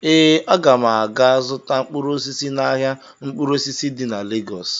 Ee, aga m aga zụta mkpụrụ osisi n'ahịa mkpụrụ osisi di na Legọs